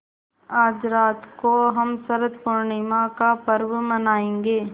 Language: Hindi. आज रात को हम शरत पूर्णिमा का पर्व मनाएँगे